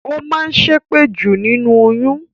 Ó máa ń ṣépè jù nínú oyún